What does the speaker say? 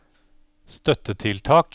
støttetiltak